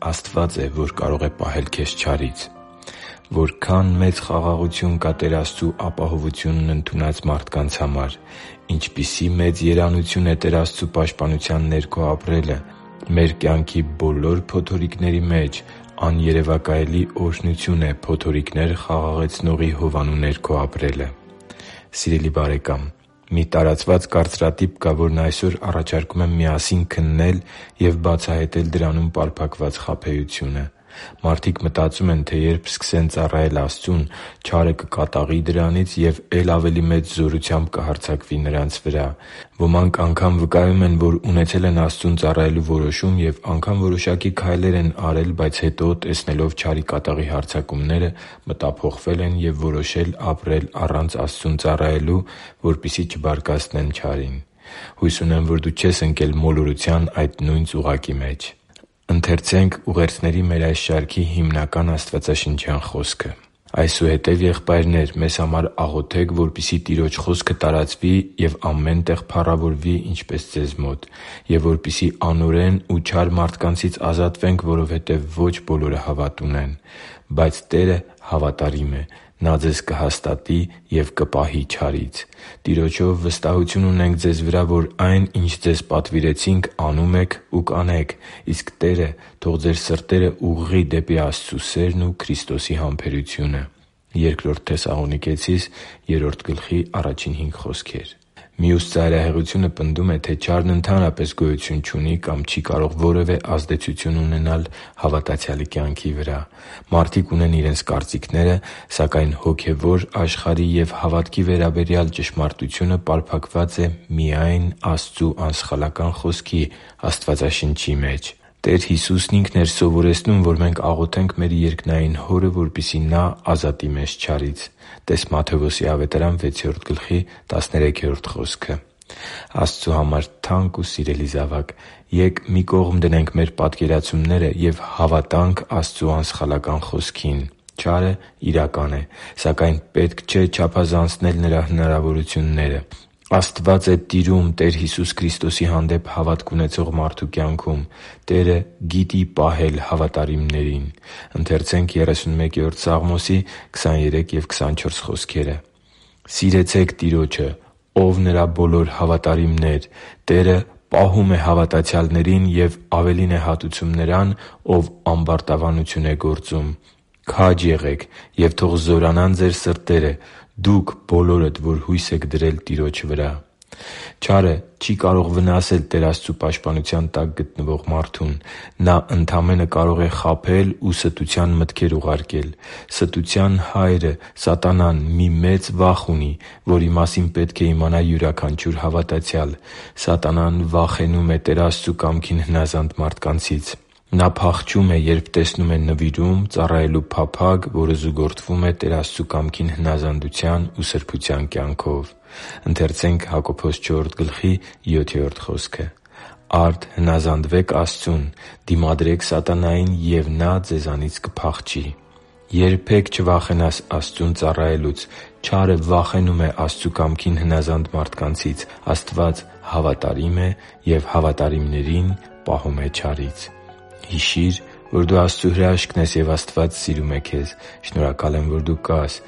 Աստվա՛ծ է, որ կարող է պահել քեզ չարից Որքա՜ն մեծ խաղաղություն կա Տեր Աստծու ապահովությունն ընդունած մարդկանց համար։ Ինչպիսի՜ մեծ երանություն է Տեր Աստծու պաշտպանության ներքո ապրելը։ Մեր կյանքի բոլոր փոթորիկների մեջ աներևակայելի օրհնություն է փոթորիկներ Խաղաղեցնողի հովանու ներքո ապրելը։ Սիրելի՛ բարեկամ, մի տարածված կարծրատիպ կա, որն այսօր առաջարկում եմ միասին քննել և բացահայտել դրանում պարփակված խաբեությունը։ Մարդիկ մտածում են, թե երբ սկսեն ծառայել Աստծուն, չարը կկատաղի դրանից և է՛լ ավելի մեծ զորությամբ կհարձակվի նրանց վրա։ Ոմանք անգամ վկայում են, որ ունեցել են Աստծուն ծառայելու որոշում և անգամ որոշակի քայլեր են արել, բայց հետո, տեսնելով չարի կատաղի հարձակումները, մտափոխվել են և որոշել ապրել առանց Աստծուն ծառայելու, որպեսզի շատ չբարկացնեն չարին։ Հույս ունեմ, որ դու չես ընկել մոլորության այդ նույն ծուղակի մեջ։ «Այսուհետև, եղբայրնե՛ր, մեզ համար աղոթե՛ք, որպեսզի Տիրոջ խոսքը տարածվի ու ամեն տեղ փառավորվի, ինչպես ձեզ մոտ, և որպեսզի անօրեն ու չար մարդկանցից ազատվենք, որովհետև ոչ բոլորը հավատ ունեն։ Բայց Տերը հավատարիմ է. Նա ձեզ կհաստատի և կպահի չարից։ Տիրոջով վստահություն ունենք ձեզ վրա, որ այն, ինչ ձեզ պատվիրեցինք, անում եք ու կանեք։ Իսկ Տերը թող ձեր սրտերը ուղղի դեպի Աստծու սերն ու Քրիստոսի համբերությունը» (Բ Թեսաղոնիկեցիս 3.1-5)։ Մյուս ծայրահեղությունը պնդում է, թե չարն ընդհանրապես գոյություն չունի կամ չի կարող որևէ ազդեցություն ունենալ հավատացյալի կյանքի վրա։ Մարդիկ ունեն իրենց կարծիքները, սակայն հոգևոր աշխարհի և հավատքի կյանքի վերաբերյալ ճշմարտությունը պարփակված է միայն Աստծու անսխալական Խոսքի՝ Աստվածաշնչի մեջ։ Տեր Հիսուսն Ինքն էր սովորեցնում, որ մենք աղոթենք մեր երկնային Հորը, որպեսզի Նա ազատի մեզ չարից (տե՛ս Մատթեոս 6.13 խոսքը): Աստծու համար թանկ ու սիրելի՛ զավակ, ե՛կ մի կողմ դնենք մեր պատկերացումները և հավատա՛նք Աստծու անսխալական Խոսքին։ Չարը իրական է, սակայն պետք չէ չափազանցնել նրա հնարավորությունները։ Աստվա՛ծ է տիրում Տեր Հիսուս Քրիստոսի հանդեպ հավատք ունեցող մարդու կյանքում։ Տերը գիտի պահել հավատարիմներին։ «Սիրեցե՛ք Տիրոջը, ո՛վ Նրա բոլոր հավատարիմներ. Տերը պահում է հավատացյալներին և ավելին է հատուցում նրան, ով ամբարտավանություն է գործում։ Քա՛ջ եղեք, և թող զորանան ձեր սրտերը, դուք բոլորդ, որ հույս եք դրել Տիրոջ վրա» (Սաղմոս 31․23-24): Չարը չի կարող վնասել Տեր Աստծու պաշտպանության տակ գտնվող մարդուն։ Նա ընդամենը կարող է խաբել ու ստության մտքեր ուղարկել։ Ստության հայրը՝ սատանան, մի մեծ վախ ունի, որի մասին պետք է իմանա յուրաքանչյուր հավատացյալ։ Սատանան վախենում է Տեր Աստծու կամքին հնազանդ մարդկանցից։ Նա փախչում է, երբ տեսնում է նվիրում, ծառայելու փափագ, որը զուգորդվում է Տեր Աստծու կամքին հնազանդության ու սրբության կյանքով։ «Արդ հնազանդվե՛ք Աստծուն, դիմադրե՛ք սատանային, ու նա ձեզանից կփախչի» (Հակոբոս 4․7): Երբե՛ք չվախենաս Աստծուն ծառայելուց։ Չարը վախենում է Աստծու կամքին հնազանդ մարդկանցից։ Աստված հավատարիմ է և հավատարիմներին պահում է չարից։ Հիշի՛ր, որ դու Աստծո հրաշքն ես, և Աստված սիրում է քեզ։ Շնորհակալ եմ, որ դու կա՛ս